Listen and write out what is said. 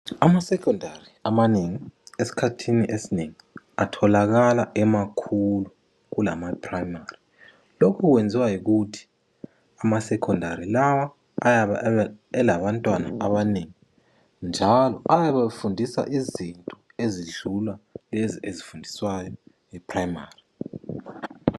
Ama secondary amanengi esikhathini esinengi atholakala emakhulu kulama primary lokhu kwenziwa yikuthi ama secondary lawa ayabe elabantwana abanengi njalo ayabe efundisa izinto ezidlula lezi ezifundiswayo e primary